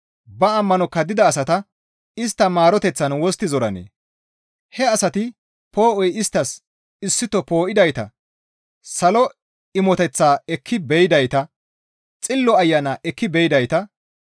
Ba ammano kaddida asata istta maaroteththan wostti zoranee? He asati poo7oy isttas issito poo7idayta salo imoteththaa ekki be7idayta, Xillo Ayana ekki be7idayta,